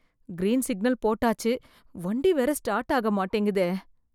Green signal போட்டாச்சு, வண்டி வேற ஸ்டார்ட் ஆக மாட்டேங்குதே.